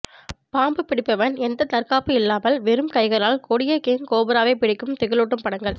பாம்பு பிடிப்பவன் எந்த தற்காப்பு இல்லாமல் வெறும் கையால் கொடிய கிங் கோப்ராவை பிடிக்கும் திகிலூட்டும் படங்கள்